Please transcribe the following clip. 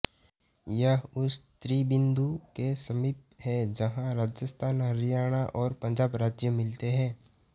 यह उस त्रिबिन्दु के समीप है जहाँ राजस्थान हरियाणा और पंजाब राज्य मिलते हैं